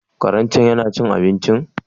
Karen cen yana cin abincin?